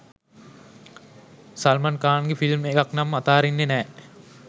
සල්මන් ඛාන්ගෙ ෆිල්ම් එකක් නම් අතඅරින්නෙ නෑ.